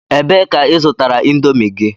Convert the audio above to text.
Ebee ka i zụtara Indomi gị?